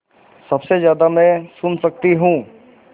सबसे ज़्यादा मैं सुन सकती हूँ